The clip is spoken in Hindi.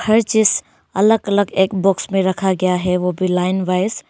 हर चीज अलग अलग एक बॉक्स में रखा गया है वो भी लाइन वाइज ।